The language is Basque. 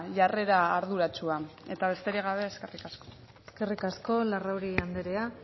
jarrera arduratsua eta besterik gabe eskerrik asko eskerrik asko larrauri andrea